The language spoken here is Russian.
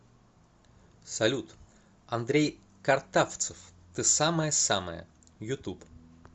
салют андрей картавцев ты самая самая ютуб